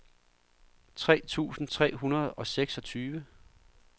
tre tusind tre hundrede og seksogtyve